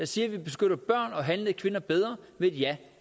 siger at vi beskytter børn og handlede kvinder bedre med et ja